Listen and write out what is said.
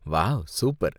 Wow, super.